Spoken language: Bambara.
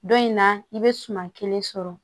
Don in na i bɛ suman kelen sɔrɔ